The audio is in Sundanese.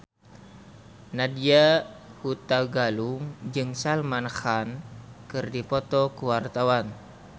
Nadya Hutagalung jeung Salman Khan keur dipoto ku wartawan